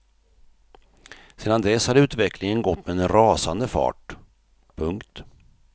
Sedan dess har utvecklingen gått med en rasande fart. punkt